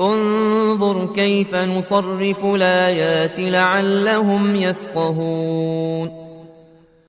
انظُرْ كَيْفَ نُصَرِّفُ الْآيَاتِ لَعَلَّهُمْ يَفْقَهُونَ